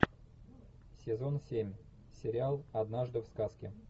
сезон семь сериал однажды в сказке